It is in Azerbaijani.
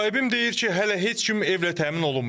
Müsahibim deyir ki, hələ heç kim evlə təmin olunmayıb.